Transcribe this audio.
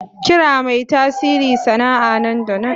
Kira mai tasiri sana'a nan da nan.